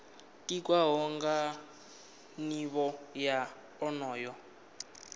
tikwaho nga nivho ya onoyo